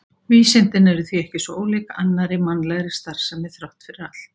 vísindin eru því ekki svo ólík annarri mannlegri starfsemi þrátt fyrir allt